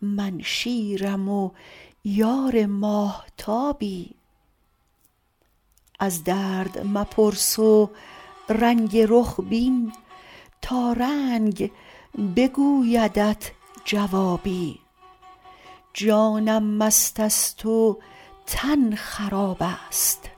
من شیرم و یار ماهتابی از درد مپرس رنگ رخ بین تا رنگ بگویدت جوابی جانم مست است و تن خراب است